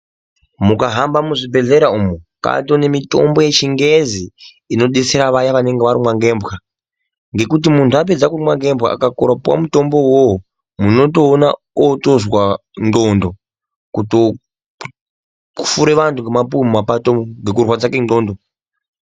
Mukahamba muzvibhedhlera umu kwatone mitombo yechingezi inobetsera vaya vanonga varumwa ngembwa. Ngekuti muntu apedza kurumwa ngembwa akakorera kupuva mutombo vovo munotoona otozwa ndxondo. Kutofure vantu ngemapuve mumapato umu ngekurwadza kwendxondo.